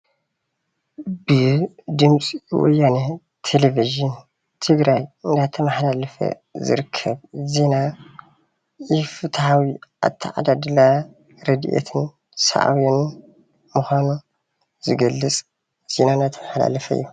ድምፂ ወያነ ቴለቪዥን ትግራይ እናተማሓላለፈ ዝርከብ ዜና ኢ-ፍትሓዊ ኣተዓዳድላ ረድኤትን ሳዕቤኑን ምኳኑ ዝገልፅ ዜና እናተመሓላለፈ እዩ፡፡